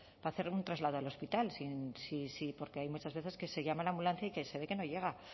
para hacer un traslado al hospital porque hay muchas veces que se llama a la ambulancia y que se ve que no llega